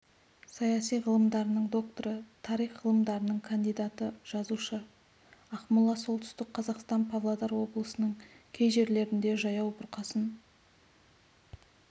саяси ғылымдарының докторы тарих ғылымдарының кандидаты жазушы ақмола солтүстік қазақстан павлодар облысының кей жерлерінде жаяу бұрқасын